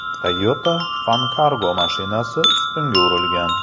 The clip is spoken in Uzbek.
Toyota Funcargo mashinasi ustunga urilgan.